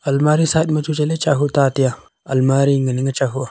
almari side ma chu chale chahu taa tia almari nganang chahu aa.